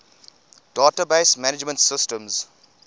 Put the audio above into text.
database management systems